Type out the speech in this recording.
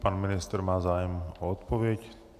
Pan ministr má zájem o odpověď.